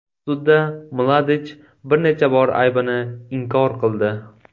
Sudda Mladich bir necha bor aybini inkor qildi.